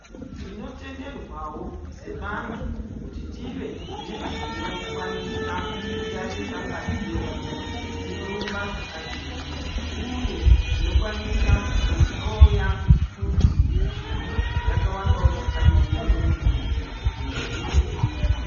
Tinotenderwavo sevantu kuti tive nezvinokwanisa kutarisa ngazi yedu kuti inorumba zvakadini .uye zvinokwanisa kuhloya kuti shuga yakawandavo zvakadini mumwiri medu kumbatso dzedu.